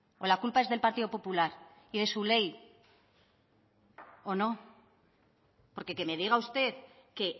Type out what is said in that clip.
o la culpa es del partido popular y de su ley o no porque que me diga usted que